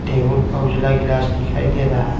Table पर उजला गिलास दिखाई दे रहा है।